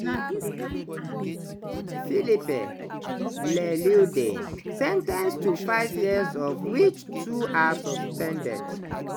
philippe leleudey sen ten ced to five years of which two are suspended.